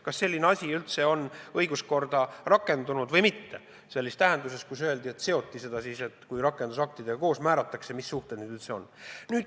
Kas selline asi üldse on õiguskorras rakendunud või mitte, sellises tähenduses, et see seoti sellega, et koos rakendusaktidega määratakse kindlaks, mis suhted need üldse on?